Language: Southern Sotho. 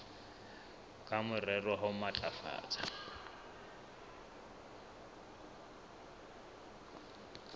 ka morero wa ho matlafatsa